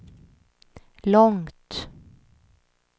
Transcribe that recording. långt